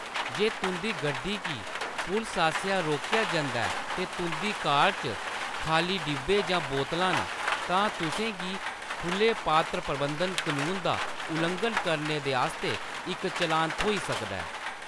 जे तुंʼदी गड्डी गी पुलस आसेआ रोकेआ जंदा ऐ ते तुंʼदी कार च खाल्ली डब्बे जां बोतलां न, तां तुसें गी खुले पात्र प्रबंधन कनून दा उल्लंघन करने दे आस्तै इक चलान थ्होई सकदा ऐ।